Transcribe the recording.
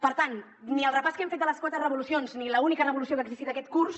per tant ni el repàs que hem fet de les quatre revolucions ni l’única revolució que ha existit aquest curs